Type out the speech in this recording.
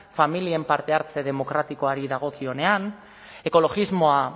familien parte hartze demokratikoari dagokionean ekologismoa